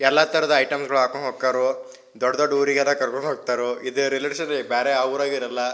ಎಲ್ಲ ತರದ ಐಟಂ ಗಳನ್ನ ಹಾಕ್ಕೊಂಡು ಹೋಗ್ತಾರು ದೊಡ್ಡ ದೊಡ್ಡ ಊರಿಗೆಲ್ಲ ಕರ್ಕೊಂಡು ಹೋಗ್ತಾರು ಇದೆ ರೈಲ್ವೆ ಸ್ಟೇಷನ್ ಬೇರೆ ಯಾವೂರಲ್ಲಿ ಇರಲ್ಲ.